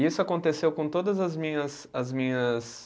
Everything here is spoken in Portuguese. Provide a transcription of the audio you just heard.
E isso aconteceu com todas as minhas, as minhas